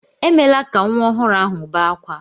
Emela ka nwa ọhụrụ ahụ bé akwa!